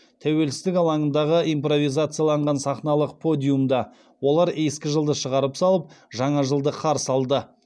тәуелсіздік алаңындағы импровизацияланған сахналық подиумда олар ескі жылды шығарып салып жаңа жылды қарсы алды